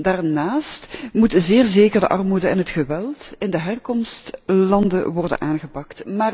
Daarnaast moeten zeer zeker de armoede en het geweld in de herkomstlanden worden aangepakt.